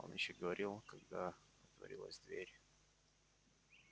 он ещё говорил когда отворилась дверь